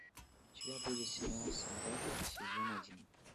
у тебя будет сериал солдаты сезон один